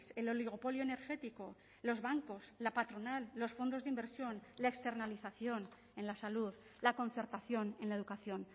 el oligopolio energético los bancos la patronal los fondos de inversión la externalización en la salud la concertación en la educación